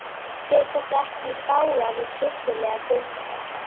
Fer þetta ekki í bága við kristilega guðfræði?